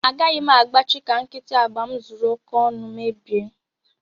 Agaghị m agbachị ka nkịtị agba m zuru oke ọnụ mebie